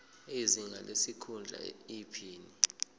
izinga lesikhundla iphini